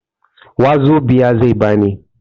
Wazobia zai ba ni.